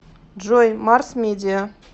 джой марс медиа